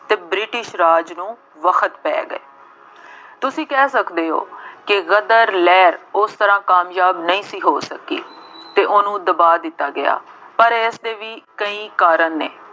ਅਤੇ ਬ੍ਰਿਟਿਸ਼ ਰਾਜ ਨੂੰ ਵਕਤ ਪੈ ਗਏ। ਤੁਸੀਂ ਕਹਿ ਸਕਦੇ ਹੋ ਕਿ ਗਦਰ ਲਹਿਰ ਉਸ ਤਰ੍ਹਾਂ ਕਾਮਯਾਬ ਨਹੀ ਸੀ ਹੋ ਸਕੀ ਅਤੇ ਉਹਨੂੰ ਦਬਾ ਦਿੱਤਾ ਗਿਆ। ਪਰ ਇਸਦੇ ਵੀ ਕਈ ਕਾਰਨ ਨੇ,